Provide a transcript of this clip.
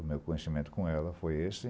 O meu conhecimento com ela foi esse.